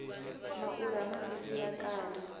maurha mambisi ya kala